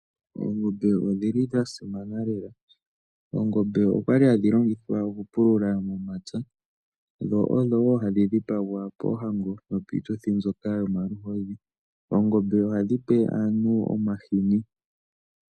Ongombe odhi li dha simana lela. Oongombe okwa li hadhi longithwa okupulula momapya dho odho wo hadhi dhipagwa poohango nopiituthi mbyoka yomaluhodhi. Oongombe ohadhi pe aantu omahini.